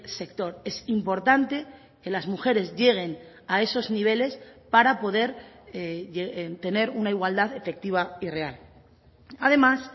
sector es importante que las mujeres lleguen a esos niveles para poder tener una igualdad efectiva y real además